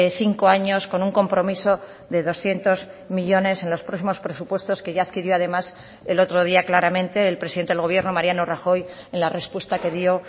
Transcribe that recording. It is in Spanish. cinco años con un compromiso de doscientos millónes en los próximos presupuestos que ya adquirió además el otro día claramente el presidente del gobierno mariano rajoy en la respuesta que dio